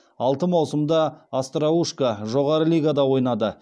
алты маусымда остроушко жоғары лигада ойнады